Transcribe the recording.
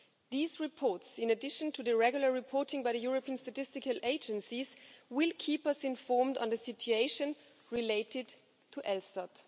These reports, in addition to the regular reporting by the European statistical agencies, will keep us informed on the situation related to ELSTAT.